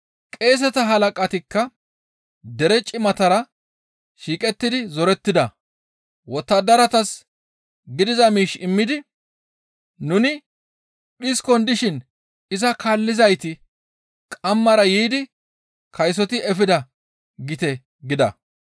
Qeeseta halaqatikka dere cimatara shiiqettidi zorettida; wottadaratas gidiza miish immidi, « ‹Nuni dhiskon dishin iza kaallizayti qammara yiidi kaysoti efida› gite gida.